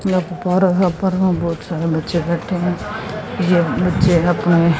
यहाँ पर बहोत सारे बच्चे बैठे हैं ये बच्चे अपने--